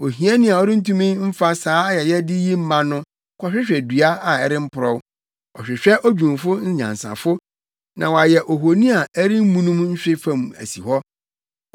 Ohiani a ɔrentumi mfa saa ayɛyɛde yi mma no kɔhwehwɛ dua a ɛremporɔw. Ɔhwehwɛ odwumfo nyansafo na wayɛ ohoni a ɛremmunum nhwe fam asi hɔ.